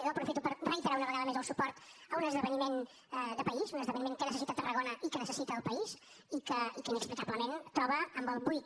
jo aprofito per reiterar una vegada més el suport a un esdeveniment de país un esdeveniment que necessita tarragona i que necessita el país i que inexplicablement es troba amb el buit